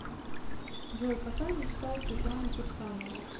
джой какая мечта у светланы кирсановой